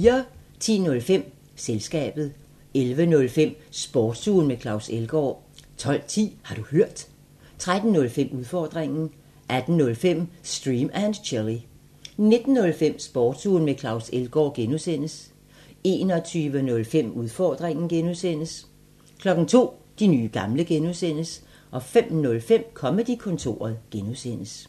10:05: Selskabet 11:05: Sportsugen med Claus Elgaard 12:10: Har du hørt? 13:05: Udfordringen 18:05: Stream and Chill 19:05: Sportsugen med Claus Elgaard (G) 21:05: Udfordringen (G) 02:00: De nye gamle (G) 05:05: Comedy-kontoret (G)